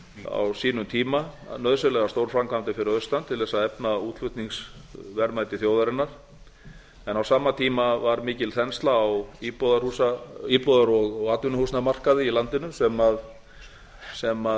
á sínum tíma nauðsynlegar stórframkvæmdir fyrir austan til þess að efla útflutningsverðmæti þjóðarinnar en á sama tíma var mikil þensla á íbúðar og atvinnuhúsnæði á markaði í landinu sem